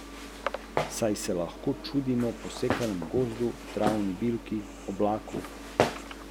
A je lezel naprej, meter za metrom.